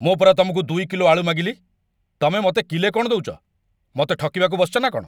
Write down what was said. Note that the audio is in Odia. ମୁଁ ପରା ତମକୁ ୨ କିଲୋ ଆଳୁ ମାଗିଲି, ତମେ ମତେ କିଲେ କ'ଣ ଦଉଚ? ମତେ ଠକିବାକୁ ବସିଚ ନା କ'ଣ?